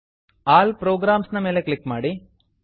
all programs all programs ನ ಮೇಲೆ click ಮಾಡಿ